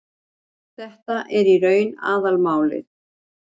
Þetta er í raun aðalmálið